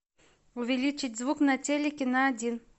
увеличить звук на телике на один